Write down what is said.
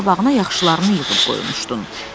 Göz qabağına yaxşılarını yığıb qoymuşdun.